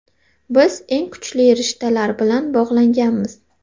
Biz eng kuchli rishtalar bilan bog‘langanmiz.